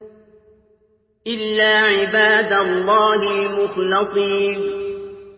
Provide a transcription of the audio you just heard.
إِلَّا عِبَادَ اللَّهِ الْمُخْلَصِينَ